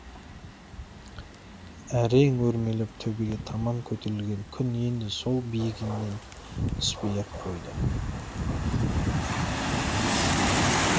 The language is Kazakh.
әрең өрмелеп төбеге таман көтерілген күн енді сол биігінен түспей ақ қойды